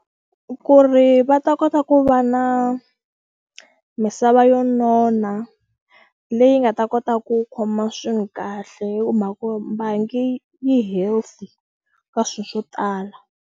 Ku ri va ta kota ku va na misava yo nona leyi nga ta kota ku khoma kahle hi mhaka bangi yi healthy ka swilo swo tala.